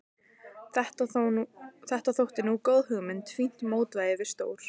Þetta þótti nú góð hugmynd, fínt mótvægi við stór